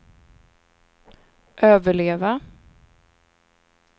överleva